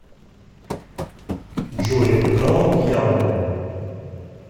джой играла в диабло